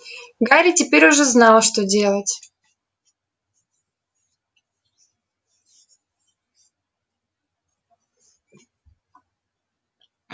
гарри теперь уже знал что делать